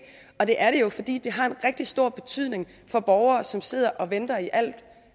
og det er det jo fordi det har en rigtig stor betydning for borgere som sidder og venter i alt